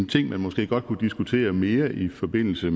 ting man måske godt kunne diskutere mere i forbindelse